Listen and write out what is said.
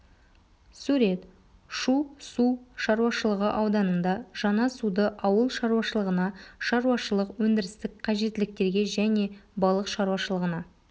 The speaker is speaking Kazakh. сурет шу су шаруашылығы ауданында жаңа суды ауыл шаруашылығына шаруашылық өндірістік қажеттіліктерге және балық шаруашылығына